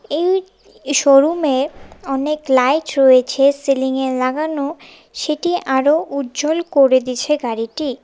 এই শোরুমে অনেক লাইট রয়েছে সিলিংয়ে লাগানো সেটি আরো উজ্জ্বল করে দিছে গাড়িটি।